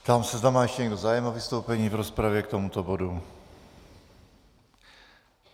Ptám se, zda má ještě někdo zájem o vystoupení v rozpravě k tomuto bodu.